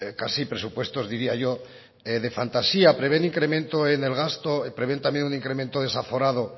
casi presupuestos diría yo de fantasía prevén incremento en el gasto prevén también un incremento desaforado